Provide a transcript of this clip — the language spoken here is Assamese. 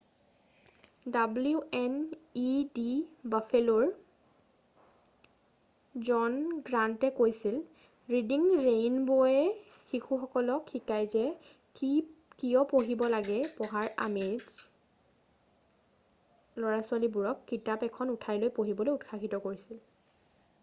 "ডব্লিউ এন ই ডি বাফেলোৰ ৰিডিং ৰেইনব'ৰ ঘৰুৱা স্থান জন গ্ৰান্তে কৈছিল "ৰিডিং ৰেইনব'য়ে শিশুসকলক শিকাই যে কিয় পঢ়িব লাগে পঢ়াৰ আমেজে - অনুষ্ঠানটো ল'ৰা-ছোৱালীবোৰক কিতাপ এখন উঠাই লৈ পঢ়িবলৈ উৎসাহিত কৰিছিল।""